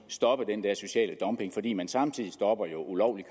stoppe den der sociale dumping fordi man samtidig ville stoppe ulovlig